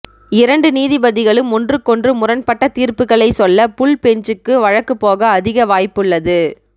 இரண்டு நீதிபதிகளும் ஒன்றுக்கொன்று முரண்பட்ட தீர்ப்புக்களை சொல்ல புல் பெஞ்சுக்கு வழக்கு போக அதிக வாய்ப்புள்ளது